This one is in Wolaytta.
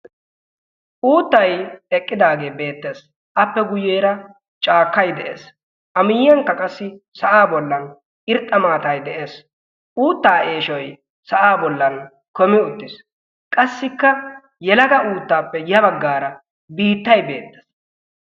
Uuttay eqqidaage beettees. Appe guyyeera cakkay de'ees. A miyyiyankka qassi sa'a bollan irxxa maatay de'ees. Uutta eeshshoy sa'aan kummi uttiis. Qassikka yelaga uuttappe ya baggaara biittay beettes.